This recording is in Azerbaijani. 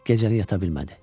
Gecəni yata bilmədi.